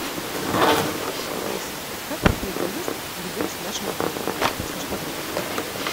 алиса как проходит заезд или выезд в нашем отеле подскажи подробности